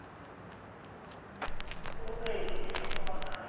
ਉਹ ਗਈ ਕਿਤੇ ਦੁਆ ਕਰਨ।